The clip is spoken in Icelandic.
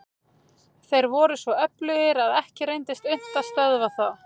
Þeir voru svo öflugir að ekki reyndist unnt að stöðva þá.